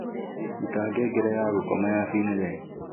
ruta ngengere ya gukoma ya finlee